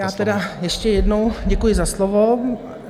Já tedy ještě jednou děkuji za slovo.